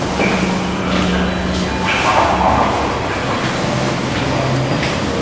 уже көзқарас жаңағындай нәрсе уже маған алдағы уақытта уже қызық оның неге барып немен айналысқаны